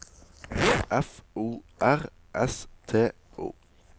F O R S T O